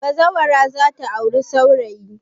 Bazawara za ta auri saurayi.